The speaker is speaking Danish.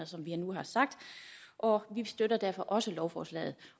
som vi nu har sagt og vi støtter derfor også lovforslaget